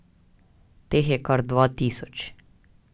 Teh je kar dva tisoč.